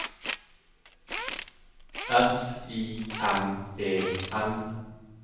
S I M E N